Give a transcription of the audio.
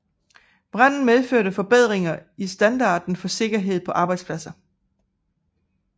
Branden medførte forbedringer i standarderne for sikkerhed på arbejdspladser